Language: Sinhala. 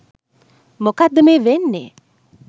මොකක්ද මේ වෙන්නේ